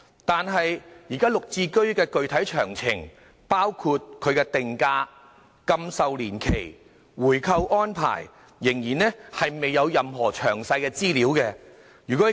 但是，現時"綠置居"的具體詳情，包括定價、禁售年期及回購安排，仍然未有任何詳細資料。